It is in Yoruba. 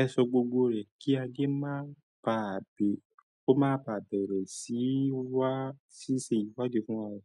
ẹ ṣọ gbogbo rẹ̀ kí a Adé máa bà á bẹ̀rẹ sí i wá di fún wa.